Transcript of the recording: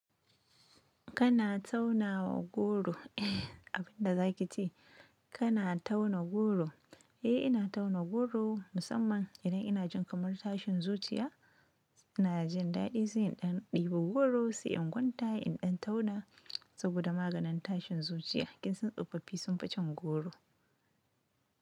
Kana tauna goro, abin da za ki ce kana tauna goro? Eh ina tauna goro musamman idan ina jin kamar tashin zuciya. Ina jin daɗi sai in dan ɗibo goro sai in kwanta in ɗan tauna saboda maganin tashin zuciya. Kin san tsofaffi sun fi cin goro.